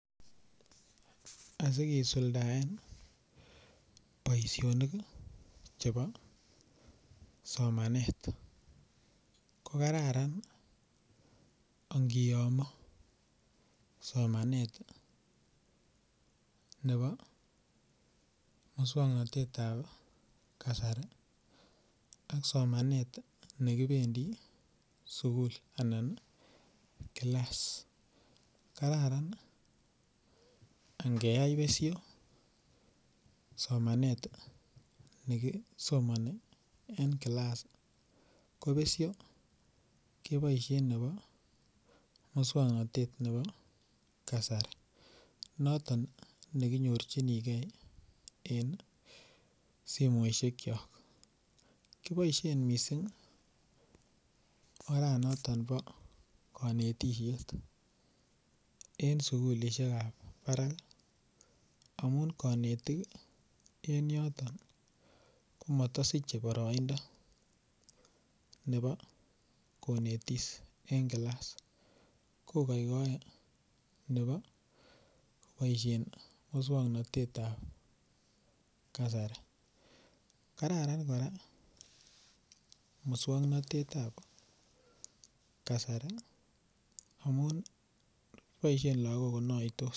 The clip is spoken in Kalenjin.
Asikisuldaen boisionik chebo somanet kokararan angiyomo somanet nebo muswoknotetab kasari ak somanet nekibendi sugul anan class kararan ingeyai besho somanet nekisomoni en class kobesho keboishen muswoknotet nebo kasari noton nekinyorjinigee en simoishekiok, kiboishen missing' oranoton bikonetishet en sugulishekab barak amun konetik en yoton komotosiche boroindo nebo konetis en class kokokorn nebo keboishen muswoknotetab kasari kararan koraa muswoknotetab kasari amun boishen lagok konoitos.